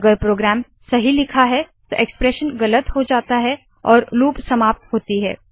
अगर प्रोग्राम सही लिखा है तो एक्सप्रेशन गलत हो जाता है और लूप समाप्त होती है